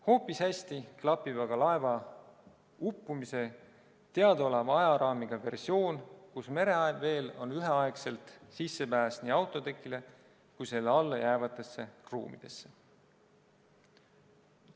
Hoopis hästi klapib aga laeva uppumise teadaoleva ajaraamiga versioon, mille kohaselt mereveel oli üheaegselt sissepääs nii autotekile kui ka selle all olnud ruumidesse.